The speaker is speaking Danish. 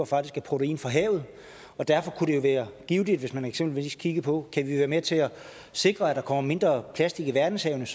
faktisk af protein fra havet derfor kunne det jo være givtigt hvis man eksempelvis kiggede på om kan være med til at sikre at der kommer mindre plastik i verdenshavene